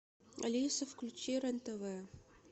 алиса включи рен тв